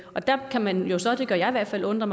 der kan man jo så det gør jeg i hvert fald undre